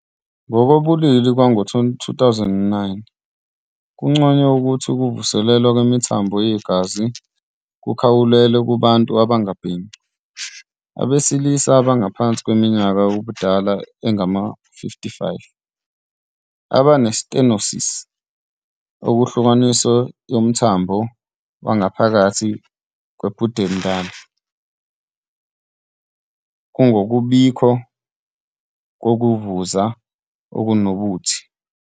Ngokobulili Kwango-2009 kunconywe ukuthi ukuvuselelwa kwemithambo yegazi kukhawulelwe kubantu abangabhemi, abesilisa abangaphansi kweminyaka yobudala engama-55 abane-stenosis ehlukanisiwe yomthambo wangaphakathi we-pudendal ngokungabikho kokuvuza okunobuthi.